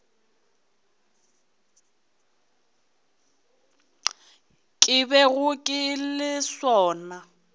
ke bego ke le sona